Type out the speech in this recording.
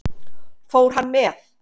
Fór hann með?